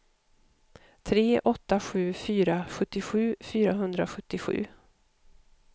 tre åtta sju fyra sjuttiosju fyrahundrasjuttiosju